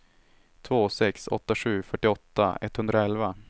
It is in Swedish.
två sex åtta sju fyrtioåtta etthundraelva